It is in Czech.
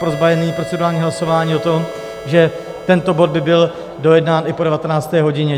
Prosba je - nyní procedurální hlasování o tom, že tento bod by byl dojednán i po 19. hodině.